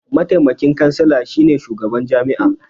Mataimakin kansila shi ne shugaban jami'a.